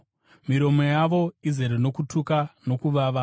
“Miromo yavo izere nokutuka nokuvava.”